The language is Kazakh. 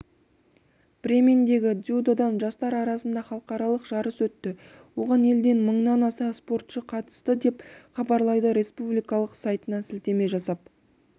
бремендегі дзюдодан жастар арасында халықаралық жарыс өтті оған елден мыңнан аса спортшы қатысты деп хабарлайды республикалық сайтына сілтеме жасап